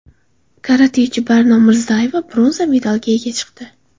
Karatechi Barno Mirzayeva bronza medalga ega chiqdi.